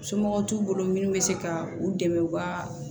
Somɔgɔw t'u bolo minnu bɛ se ka u dɛmɛ u ka